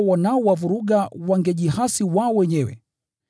Laiti hao wanaowavuruga wangejihasi wao wenyewe!